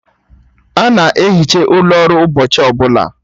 A na-ehicha ụlọ ọrụ ụbọchị ọbụla